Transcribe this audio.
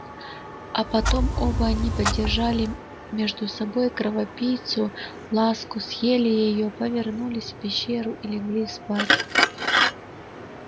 а потом оба они поддержали между собой кровопийцу ласку съели её повернулись в пещеру и легли спать